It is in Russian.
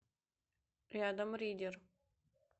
рядом ридер